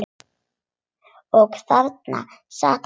Og þarna sat hann.